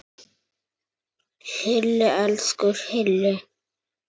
Hilli, elsku Hilli!